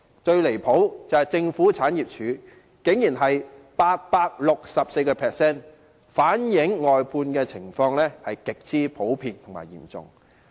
最離譜的是政府產業署，其比率竟然是 864%， 反映外判情況極為普遍和嚴重。